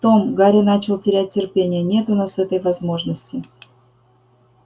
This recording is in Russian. том гарри начал терять терпение нет у нас этой возможности